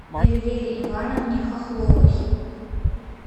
эльвире ивановне хохловой